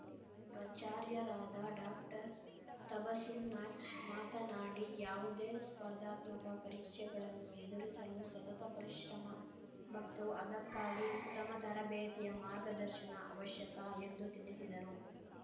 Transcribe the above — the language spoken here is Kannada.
ಪ್ರಚಾರ್ಯರಾದ ಡಾಕ್ಟರ್ತಬಸುಮ್‌ ನಾಜ್‌ ಮಾತನಾಡಿ ಯಾವುದೇ ಸ್ಪರ್ಧಾತ್ಮಕ ಪರೀಕ್ಷೆಗಳನ್ನು ಎದುರಿಸಲು ಸತತ ಪರಿಶ್ರಮ ಮತ್ತು ಅದಕ್ಕಾಗಿ ಉತ್ತಮ ತರಬೇತಿಯ ಮಾರ್ಗದರ್ಶನ ಅವಶ್ಯಕ ಎಂದು ತಿಳಿಸಿದರು